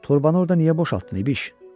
torbanı orda niyə boşaltdın İbiş?